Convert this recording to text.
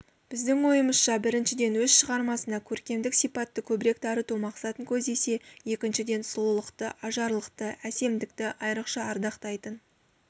біздің ойымызша біріншіден өз шығармасына көркемдік сипатты көбірек дарыту мақсатын көздесе екіншіден сұлулықты ажарлылықты әсемдікті айрықша ардақтайтын